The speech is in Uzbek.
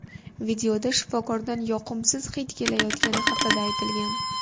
Videoda shifokordan yoqimsiz hid kelayotgani haqida aytilgan.